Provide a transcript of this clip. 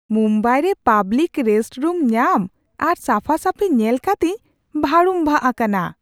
ᱢᱩᱢᱵᱟᱭ ᱨᱮ public restroom ᱧᱟᱢ ᱟᱨ ᱥᱟᱯᱷᱟᱼᱥᱟᱹᱯᱷᱤ ᱧᱮᱞᱠᱟᱛᱮᱧ ᱵᱷᱟᱹᱲᱩᱝᱵᱷᱟᱜ ᱟᱠᱟᱱᱟ ᱾